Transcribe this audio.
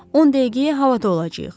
10 dəqiqəyə havada olacağıq.